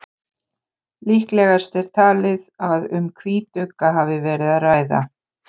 líklegast er talið að um hvítugga hafi verið að ræða